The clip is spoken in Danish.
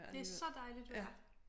Det så dejligt vejr